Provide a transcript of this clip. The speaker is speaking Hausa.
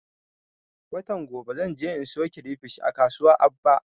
Watan gobe zan je in siyo kirefish a kasuwan aba